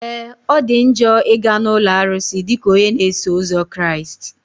Ee! Ọ dị njọ ị ga na ụlọ arụsị dịka onye na-eso ụzọ Kraịst.